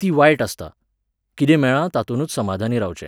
ती वायट आसता, कितें मेळ्ळां तातुंनूच समाधानी रावचें